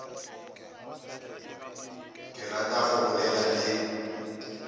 ke rata go bolela le